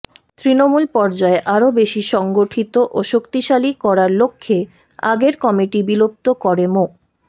তৃণমূল পর্যায়ে আরো বেশি সংগঠিত ও শক্তিশালী করার লক্ষ্যে আগের কমিটি বিলুপ্ত করে মো